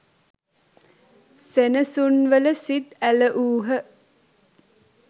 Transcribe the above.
සෙනසුන්වල සිත් ඇලවූහ.